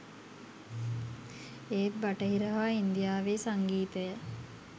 ඒත් බටහිර හා ඉන්දියාවේ සංගීතය